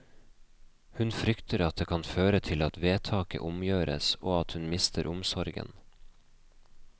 Hun frykter at det kan føre til at vedtaket omgjøres, og at hun mister omsorgen.